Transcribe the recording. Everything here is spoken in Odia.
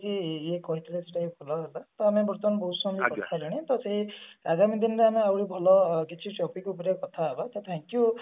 ତ ସେଇ ଆଗାମୀ ଦିନରେ ଆହୁରି ଭଲ କିଛି topic ଉପରେ କଥା ହେବା ତ